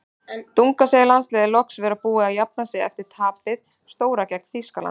Dunga segir landsliðið loksins vera búið að jafna sig eftir tapið stóra gegn Þýskalandi.